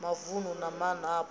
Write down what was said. wa mavunu na maana apo